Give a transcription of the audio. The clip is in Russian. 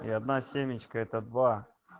и одна семечка это